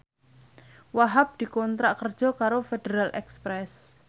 Wahhab dikontrak kerja karo Federal Express